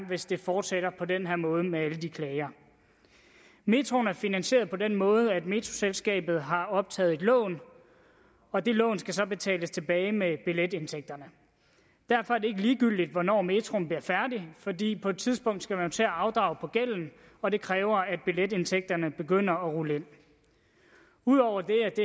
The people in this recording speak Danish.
hvis det fortsætter på den her måde med alle de klager metroen er finansieret på den måde at metroselskabet har optaget et lån og det lån skal så betales tilbage med billetindtægterne derfor er det ikke ligegyldigt hvornår metroen bliver færdig fordi på et tidspunkt skal man jo til at afdrage på gælden og det kræver at billetindtægterne begynder at rulle ind ud over det er det